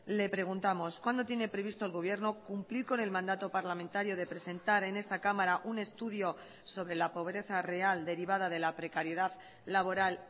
le preguntamos cuándo tiene previsto el gobierno cumplir con el mandato parlamentario de presentar en esta cámara un estudio sobre la pobreza real derivada de la precariedad laboral